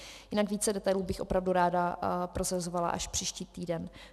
Jinak více detailů bych opravdu ráda prozrazovala až příští týden.